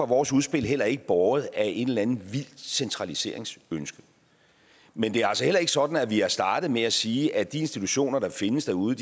vores udspil heller ikke båret af et eller andet vildt centraliseringsønske men det er altså heller ikke sådan at vi har startet med at sige at de institutioner der findes derude